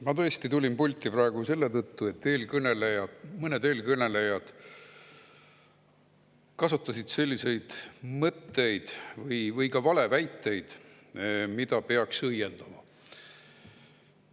Ma tulin tõesti pulti praegu selle tõttu, et mõned eelkõnelejad kasutasid selliseid mõtteid või ka valeväiteid, mida peaks ära õiendama.